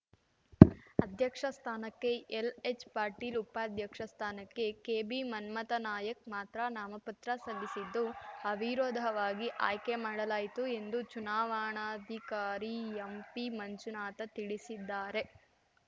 ಅಧ್ಯಕ್ಷ ಸ್ಥಾನಕ್ಕೆ ಎಲ್‌ಎಚ್‌ಪಾಟೀಲ್‌ ಉಪಾಧ್ಯಕ್ಷ ಸ್ಥಾನಕ್ಕೆ ಕೆಬಿಮನ್ಮಥನಾಯಕ್ ಮಾತ್ರ ನಾಮಪತ್ರ ಸಲ್ಲಿಸಿದ್ದು ಅವಿರೋಧವಾಗಿ ಆಯ್ಕೆ ಮಾಡಲಾಯಿತು ಎಂದು ಚುನಾವಣಾಧಿಕಾರಿ ಎಂಪಿಮಂಜುನಾಥ ತಿಳಿಸಿದ್ದಾರೆ